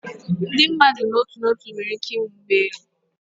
Ndị mmadụ n'otu n'otu nwere ike ịnwe ụgbọ elu